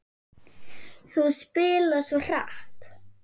Þú spilar svo hratt.